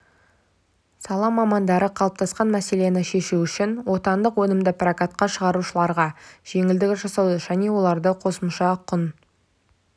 сала мамандары қалыптасқан мәселені шешу үшін отандық өнімді прокатқа шығарушыларға жеңілдік жасауды және оларды қосымша құн